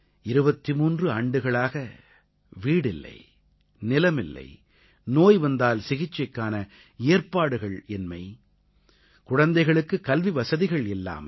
23 ஆண்டுகளாக வீடில்லை நிலமில்லை நோய் வந்தால் சிகிச்சைக்கான ஏற்பாடுகள் இன்மை குழந்தைகளுக்கு கல்விவசதிகள் இல்லாமை